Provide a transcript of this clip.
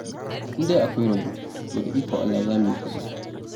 In dai akwai rabo, to da ikon Allah za mu yi kuɗi.